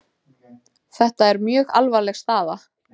Þetta er mjög alvarleg staða